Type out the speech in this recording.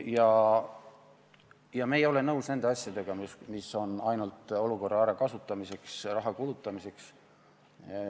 Aga me ei ole nõus nende asjadega, mis on ainult olukorra ärakasutamiseks, raha kulutamiseks.